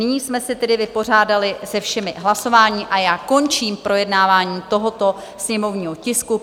Nyní jsme se tedy vypořádali se všemi hlasováními a já končím projednávání tohoto sněmovního tisku.